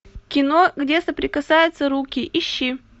кино где соприкасаются руки ищи